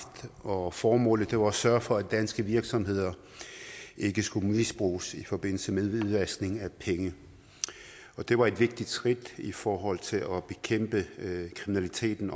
og formålet var at sørge for at danske virksomheder ikke skulle misbruges i forbindelse med hvidvaskning af penge og det var et vigtigt skridt i forhold til at bekæmpe kriminaliteten